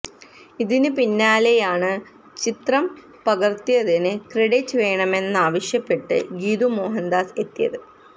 ഇതിന് പിന്നാലെയായാണ് ചിത്രം പകര്ത്തിയതിന് ക്രഡിറ്റ് വേണെമന്നാവശ്യപ്പെട്ട് ഗീതു മോഹന്ദാസ് എത്തിയത്